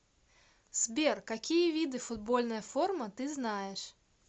сбер какие виды футбольная форма ты знаешь